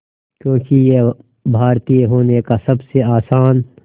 क्योंकि ये भारतीय होने का सबसे आसान